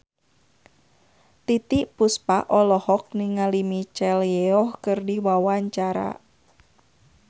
Titiek Puspa olohok ningali Michelle Yeoh keur diwawancara